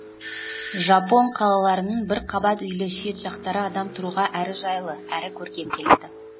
жапон қалаларының бір қабат үйлі шет жақтары адам тұруға әрі жайлы әрі көркем келеді